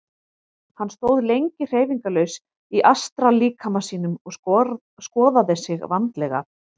Hann stóð lengi hreyfingarlaus í astrallíkama sínum og skoðaði sig vandlega.